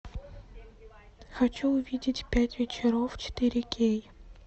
хочу увидеть пять вечеров четыре кей